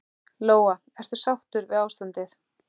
Lóa: Ertu sáttur við ástandið?